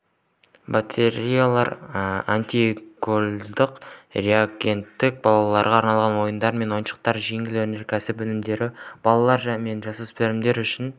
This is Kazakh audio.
батареялар антигололедтық реагенттер балаларға арналған ойындар мен ойыншықтар жеңіл өнеркәсіп өнімдері балалар мен жасөспірімдер үшін